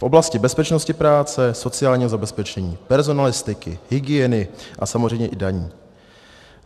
V oblasti bezpečnosti práce, sociálního zabezpečení, personalistiky, hygieny a samozřejmě i daní.